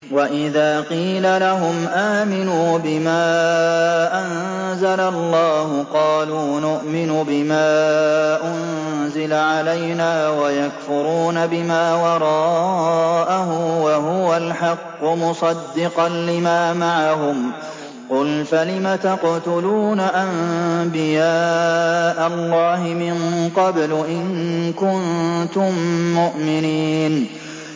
وَإِذَا قِيلَ لَهُمْ آمِنُوا بِمَا أَنزَلَ اللَّهُ قَالُوا نُؤْمِنُ بِمَا أُنزِلَ عَلَيْنَا وَيَكْفُرُونَ بِمَا وَرَاءَهُ وَهُوَ الْحَقُّ مُصَدِّقًا لِّمَا مَعَهُمْ ۗ قُلْ فَلِمَ تَقْتُلُونَ أَنبِيَاءَ اللَّهِ مِن قَبْلُ إِن كُنتُم مُّؤْمِنِينَ